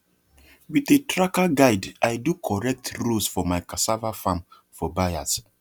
with a tracker guide i do correct rows for my cassava farm for buyers